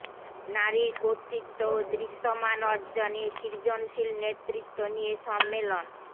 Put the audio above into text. নারীর কর্তৃত্ব ও দৃশ্যমান অর্জনে সৃজনশীল নেতৃত্ব নিয়ে সম্মেলন